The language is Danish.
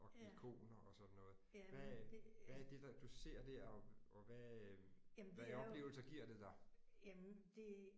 Og ikoner og sådan noget hvad hvad er det der du ser der og og hvad hvad oplevelser giver det dig?